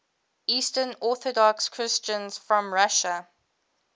eastern orthodox christians from russia